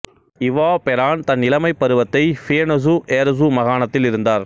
இவா பெரான் தன் இளமைப் பருவத்தை பியெனொசு ஏரசு மாகாணத்தில் இருந்தார்